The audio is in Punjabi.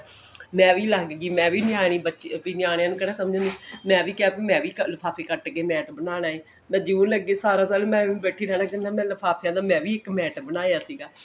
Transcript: ਮੈਂ ਵੀ ਲੰਗ ਗਈ ਮੈਂ ਵੀ ਨਿਆਣੀ ਬੱਚੀ ਵੀ ਨਿਆਣਿਆਂ ਨੂੰ ਕਿਹੜਾ ਸਮਝ ਮੈਂ ਵੀ ਕਿਹਾ ਵੀ ਮੈਂ ਵੀ ਲਿਫਾਫੇ ਕੱਟ ਕੇ mat ਬਣਾਉਣਾ ਮੈਂ ਜੁੰ ਲਗੀ ਸਾਰਾ ਸਾਲ ਮੈਂ ਐਵੇਂ ਹੀ ਬੈਠੀ ਰਿਹਾ ਕਰਨਾ ਮੈਂ ਲਿਫਾਫਿਆ ਦਾ ਮੈਂ ਵੀ ਇੱਕ mat ਬਣਾਇਆ ਸੀਗਾ